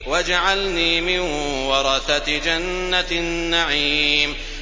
وَاجْعَلْنِي مِن وَرَثَةِ جَنَّةِ النَّعِيمِ